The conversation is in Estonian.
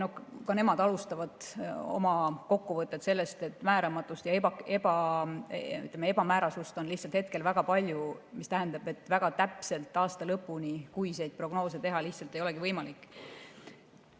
Ka nemad alustavad oma kokkuvõtet sellest, et määramatust ja ebamäärasust on hetkel lihtsalt väga palju, mis tähendab, et väga täpselt aasta lõpuni kuiseid prognoose teha ei olegi võimalik.